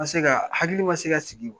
N man se ka hakili man se ka sigi.